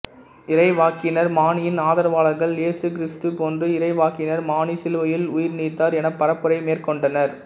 இறைவாக்கினர் மானியின் ஆதரவாளர்கள் இயேசு கிறிஸ்து போன்று இறைவாக்கினர் மானி சிலுவையில் உயிர்நீத்தார் என பரப்புரை மேற்கொண்டனர்